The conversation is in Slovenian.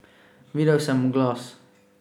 Videl sem oglas.